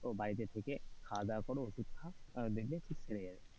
ও বাড়িতে থেকে খাওয়া-দাওয়া করো ওষুধ খাও দেখবে ঠিক ছেড়ে যাবে,